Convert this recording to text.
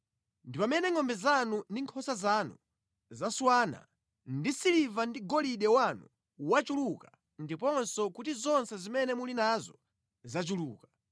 ndi pamene ngʼombe zanu ndi nkhosa zanu zaswana, ndi siliva ndi golide wanu wachuluka ndiponso kuti zonse zimene muli nazo zachuluka,